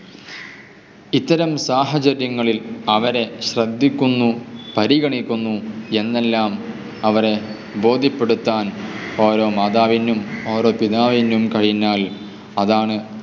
ഇത്തരം സഹചര്യങ്ങളിൽ അവരെ ശ്രദ്ധിക്കുന്നു, പരിഗണിക്കുന്നു എന്നെല്ലാം അവരെ ബോധ്യപ്പെടുത്താൻ ഓരോ മാതാവിനും ഓരോ പിതാവിനും കഴിഞ്ഞാൽ അതാണ്